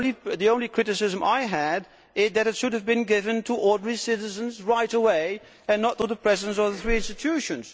The only criticism I had is that it should have been given to ordinary citizens right away, and not to the Presidents of the three institutions.